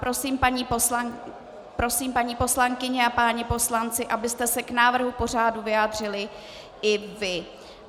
Prosím, paní poslankyně a páni poslanci, abyste se k návrhu pořadu vyjádřili i vy.